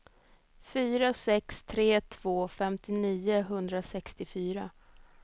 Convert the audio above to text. fyra sex tre två femtionio etthundrasextiofyra